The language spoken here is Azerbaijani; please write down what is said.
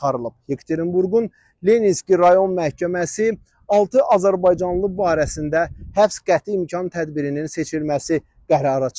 Yekaterinburqun Leninski rayon məhkəməsi altı azərbaycanlı barəsində həbs qəti imkan tədbirinin seçilməsi qərarı çıxarıb.